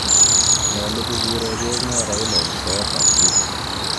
Nyolu kokuregee ng'o Raila en soet ab Twitter?